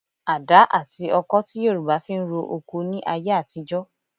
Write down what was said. Adá àti ọkọh ti Yorùbá fi ń ro oko ní ayé àtijọ́